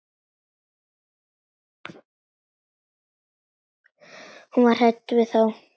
Hún var hrædd við þá.